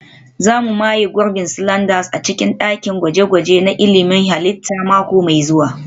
Za mu maye gurbin sliders a cikin dakin gwaje-gwaje na ilmin halitta mako mai zuwa